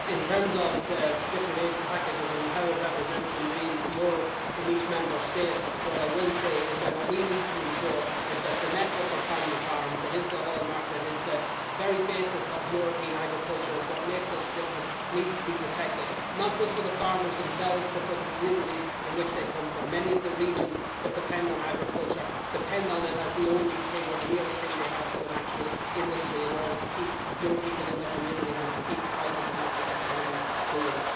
In terms of the different aid packages and how they are reflected in real euros in each Member State, I would say that what we need to ensure is that the network of family farms that is the hallmark, that is the very basis of European agriculture, it is what makes us different needs to be protected not just for the farmers themselves, but for the communities from which they come. Many of the regions that depend on agriculture depend on it as the only thing, or the nearest thing, they have to an actual industry to keep young people in their communities and to keep thriving domestic economies going.